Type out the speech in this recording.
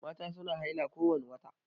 Mata su na haila kowani wata